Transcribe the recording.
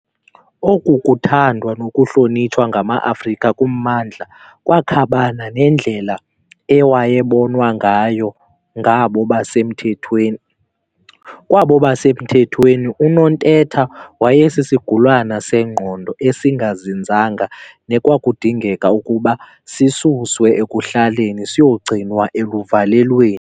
Oku kuthandwa nokuhlonitshwa ngamaAfrika kummandla kwakhabana nendlela ewayebonwa ngayo ngabo basemthethweni. Kwabo basemthethweni, uNontetha wayesisigulane sengqondo esingazinzanga nekwakudingeka ukuba sisuswe ekuhlaleni siyogcinwa eluvalelweni.